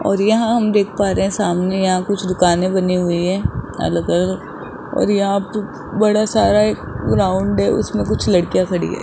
और यहां हम देख पा रहे हैं सामने यहां कुछ दुकानें बनी हुई हैं अलग अलग और यहां पे बड़ा सारा ग्राउंड है उसमें कुछ लड़कियां खड़ी हैं।